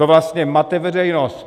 To vlastně mate veřejnost.